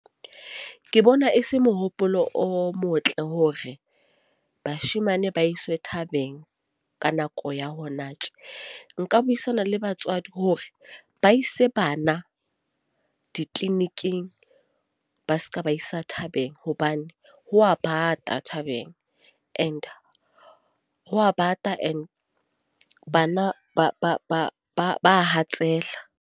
Ke bona e se mohopolo o motle hore bashemane ba iswe thabeng. Ka nako ya hona tje. Nka buisana le batswadi hore ba ise bana di-clinic-ing. Ba se ke ba ba isa thabeng, hobane ho a bata thabeng, and ho a bata and bana ba ba ba ba ba hatsela.